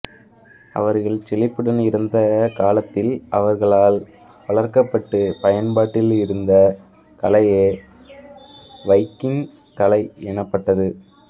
அவர்கள் செழிப்புடன் இருந்த காலத்தில் அவர்களால் வளர்க்கப் பட்டுப் பயன்பாட்டில் இருந்த கலையே வைக்கிங் கலை எனப்பட்டது